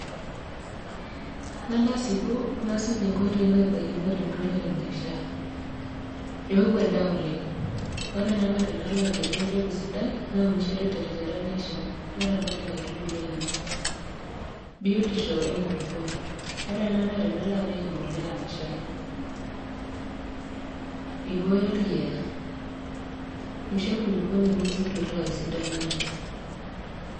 Alo asipu nasuj inkoitoi nabaikinore enturore naishaa. Eoku endaa oleng', ore ena naa tenalo agelu empeko sidai naunishore terishata naishaa naramat inkaitubulu ainei. Biotisho e nkulukuoni ore ena naa tenalo apik embolea naishaa. Eibooyo olkiyia, eisho enkulukuoni mincho eituraa esidano enye.